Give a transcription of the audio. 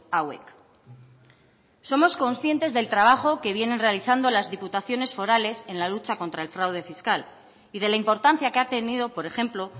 hauek somos conscientes del trabajo que vienen realizando las diputaciones forales en la lucha contra el fraude fiscal y de la importancia que ha tenido por ejemplo